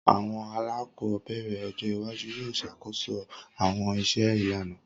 Awọn alakọbẹrẹ ọjọ iwaju yoo ṣakoso awọn iṣẹ ilana.